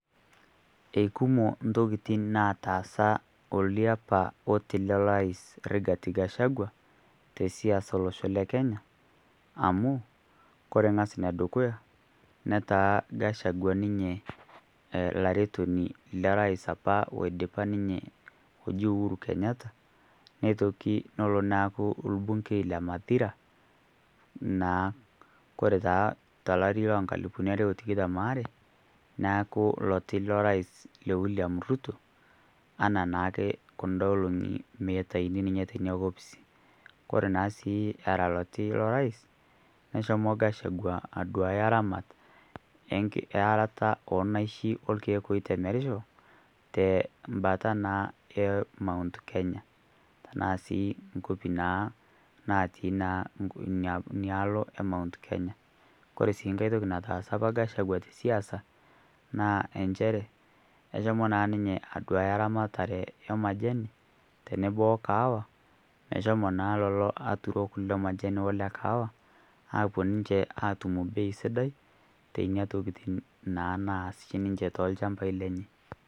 Keikumo ntokitin naataasa oliapa oti le rais Rigathi Gachagua tesiasa e losho le Kenya amu kore ng'as ne dukuya netaa Gachagua ninye laretoni le rais apa oidipa ninye oji Uhuru Kenyatta neitoki nelo neaku lbungei le Mathira naa. Kore taa to lari loo nkalupuni are o tikitam oare neaku loti lo rais le William Ruto ana naake kunda olong'i meitaini ninye te opisi kore naa sii era loti le rais neshomo naa Gachagua aduaya ramat e arata oo naishi o lkeek ooitemerisho te mbata naa e Mount Kenya tanaa sii nkopi naa naatii naa nialo e Mount Kenya. Kore sii nkae toki nataasa apa Gachagua te siasa naa enchere keshomo naa ninye aduaya ramatare e majani tenebo o kahawa meshomo naa lolo aturok le majani o le kahawa aapuo ninche aatum mbei sidai tee nenia tokitin naas shi ninche too lshampai lenche.